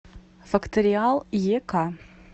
факториал ек